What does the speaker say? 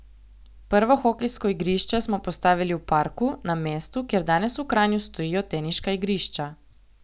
Prvo hokejsko igrišče smo postavili v parku, na mestu, kjer danes v Kranju stojijo teniška igrišča.